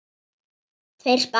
Tveir spaðar